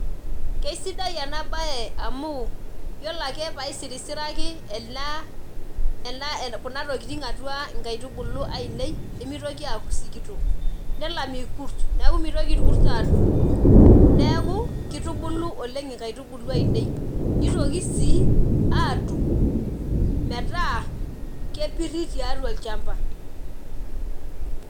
Kesidai enabae amu, yiolo ake paisirisiraki ena kuna tokiting atua nkaitubulu ainei, nimitoki aku sikitok. Nelam irkus. Neeku mitoki irkus adung'dung. Neeku, kitubulu oleng inkaitubulu ainei. Nitoki si atum metaa kepirri tiatua olchamba.